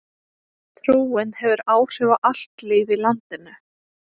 Trúin hefur áhrif á allt líf í landinu.